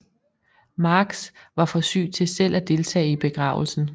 Marx var for syg til selv at deltage i begravelsen